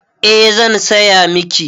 Eh zan saya miki